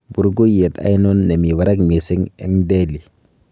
burgeiyet ainon nemi barak missing en delhi